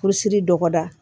Kurusi dɔgɔda